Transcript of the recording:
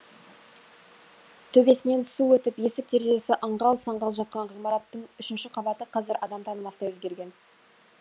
төбесінен су өтіп есік терезесі аңғал саңғал жатқан ғимараттың үшінші қабаты қазір адам танымастай өзгерген